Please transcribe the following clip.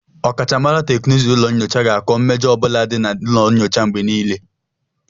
Ọkachamara teknụzụ ụlọ nyocha ga-akọ mmejọ ọ bụla dị na ụlọ nyocha mgbe nílé